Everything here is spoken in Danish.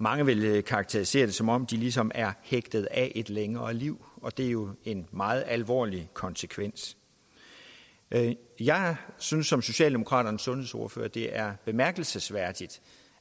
mange vil karakterisere det som om de ligesom er hægtet af et længere liv og det er jo en meget alvorlig konsekvens jeg synes som socialdemokraternes sundhedsordfører det er bemærkelsesværdigt